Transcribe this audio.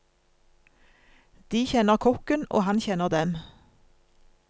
De kjenner kokken, og han kjenner dem.